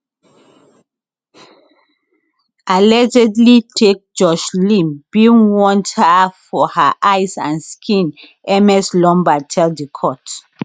[allegedly take] joshlin bin want her for her eyes and skin ms lombaard tell di court